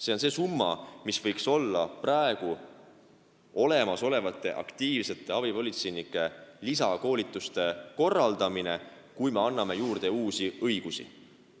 See on see summa, mis võiks minna olemasolevatele aktiivsetele abipolitseinikele lisakoolituste korraldamiseks, kui me anname juurde uusi õigusi.